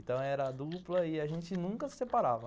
Então era dupla e a gente nunca se separava.